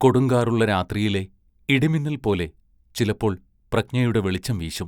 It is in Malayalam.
കൊടുങ്കാറുള്ള രാത്രിയിലെ ഇടിമിന്നൽ പോലെ ചിലപ്പോൾ പ്രജ്ഞയുടെ വെളിച്ചം വീശും.